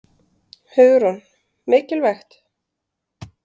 Hugrún: Mikilvægt?